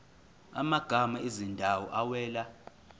amagama ezindawo awela